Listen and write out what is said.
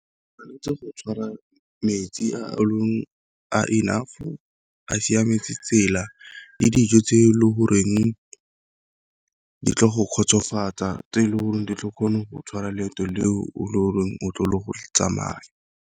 Ke tshwanetse go tshwara metsi a a enough, a siametse tsela le dijo tse e le goreng di tlo go kgotsofatsa. Tse e leng gore di tla kgona go tshwara leeto le o le o leng o tlo le go tsamaya.